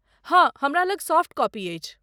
हाँ ,हमरा लग सॉफ्ट कॉपी अछि।